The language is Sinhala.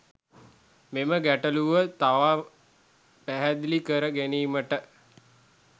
මෙම ගැටලුව තවත් පැහැදිලි කර ගැනීමට